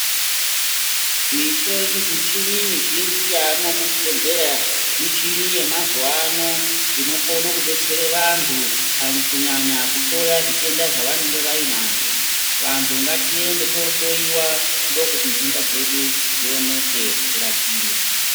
Misho michini mizhinji yaamwo muzvibhedhleya michini yemazuvano inokone kudetsera vantu pakunyanya kuhloya zvitenda zvavanenge vainazvo. Vantu ngatiende toohloyiwa, ndokuti dhenda dzedu dzioneke tirapiwe.